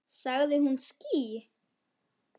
Sagði hún ský?